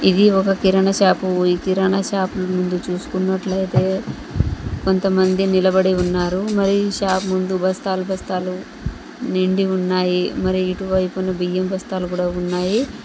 ఇది ఒక కిరణ షాపు ఈ కిరణ షాపు ముందు చూసుకున్నట్లయితే కొంతమంది నిలబడి ఉన్నారు మరియు షాప్ ముందు బస్తాలు బస్తాలు నిండి ఉన్నాయి మరి ఇటువైపున బియ్యం బస్తాలు కూడా ఉన్నాయి.